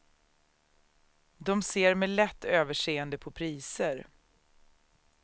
De ser med lätt överseende på priser.